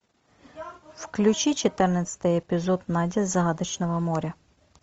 включи четырнадцатый эпизод надя с загадочного моря